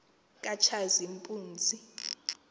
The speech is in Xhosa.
katshazimpunzi